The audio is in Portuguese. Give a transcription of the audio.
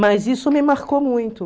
Mas isso me marcou muito.